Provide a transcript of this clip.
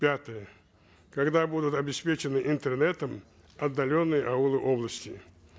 пятое когда будут обеспечены интернетом отдаленные аулы области